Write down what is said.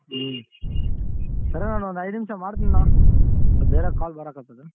ಹ್ಮ ಸರಿನಣ್ಣ ನಾನ್ ಒಂದ್ ಐದ್ ನಿಮ್ಷ ಮಾಡ್ತಿನಣ್ಣ ಸೊಲ್ಪ್ ಬೇರೆ call ಬರಕ್ ಹತ್ತದ್.